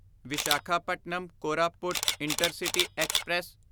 Visakhapatnam Koraput intercity express